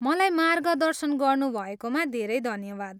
मलाई मार्गदर्शन गर्नुभएकोमा धेरै धन्यवाद।